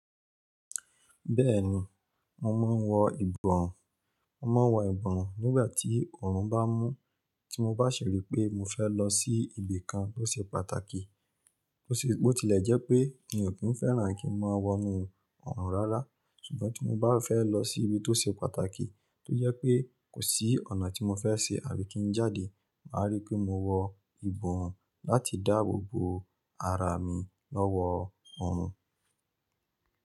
Bẹ́ẹ̀ni, mo máa ń wọ ìbọ̀wọ́. Mo má wọ ìbọ̀run nígbà tí ọrùn bá mú, tí mo bá ṣi ri pé mo fẹ́ lọ sí ibi kan tó ṣe pàtàkì. Bó tilẹ̀ jẹ́ pé mi ò kí ń fẹ́ràn kí n máa wọnú ọ̀orùn rárá, ṣùgbọ́n tí mo bá fẹ́ lọ sí ibi tó ṣe pàtàkì tó jẹ́ pé kò sí ọ̀nà tí mo fẹ́ ṣe àbí kí n jáde, màá rí pé mo wọ ìbọ̀ọ́run láti dáàbò bo ara mi lọ́wọ́ ọ̀orùn.